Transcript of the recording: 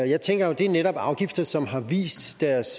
jeg tænker at det jo netop er afgifter som har vist deres